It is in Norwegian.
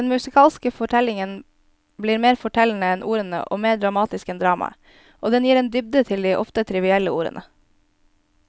Den musikalske fortellingen blir mer fortellende enn ordene og mer dramatisk enn dramaet, og den gir en dybde til de ofte trivielle ordene.